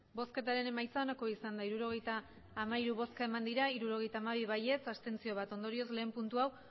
emandako botoak hirurogeita hamairu bai hirurogeita hamabi abstentzioak bat ondorioz batgarrena puntu hau